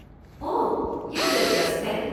ओह, यह दिलचस्प है।